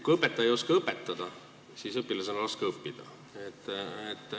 Kui õpetaja ei oska õpetada, siis on õpilasel raske õppida.